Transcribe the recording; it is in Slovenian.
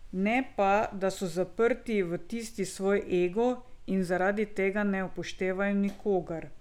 Ne pa, da so zaprti v tisti svoj ego in zaradi tega ne upoštevajo nikogar.